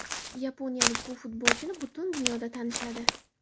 Yaponiyalik bu futbolchini butun dunyoda tanishadi.